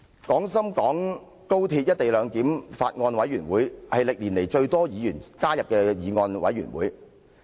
《廣深港高鐵條例草案》委員會是歷年來最多議員加入的法案委員會。